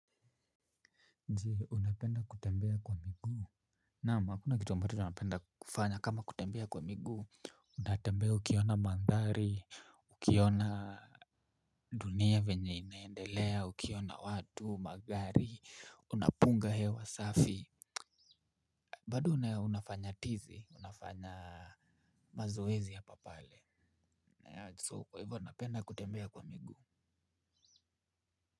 Je, unapenda kutembea kwa miguu? Naam, hakuna kitu ambacho napenda kufanya kama kutembea kwa miguu. Unatembea ukiona mandhari, ukiona dunia vyenye inaendelea, ukiona watu, magari, unapunga hewa safi. Bado unafanya tizi, unafanya mazoezi hapapale, so kwa hivyo napenda kutembea kwa miguu.